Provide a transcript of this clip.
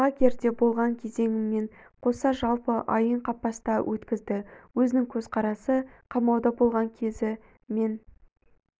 лагерде болған кезеңімен қоса жалпы айын қапаста өткізді өзінің көзқарасы қамауда болған кезі мен